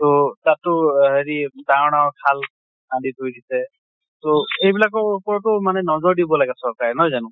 তʼ তাতো আ হেৰি ডাঙৰ ডাঙৰ খাল আদি কৰি দিছে, তʼ এইবিলাকৰ ওপৰতো মানে নজৰ দিব লাগে চৰকাৰে নহয় জানো?